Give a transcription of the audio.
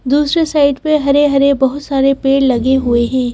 दूसरे साइड पे हरे-हरे बहुत सारे पेड़ लगे हुए हैं।